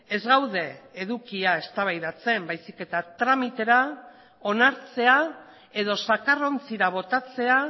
ez gaude edukia eztabaidatzen baizik eta tramitera onartzea edo zakarrontzira botatzea